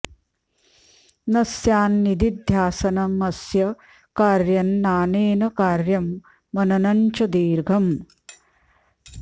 न स्यान्निदिध्यासनमस्य कार्यं नानेन कार्यं मननं च दीर्घम्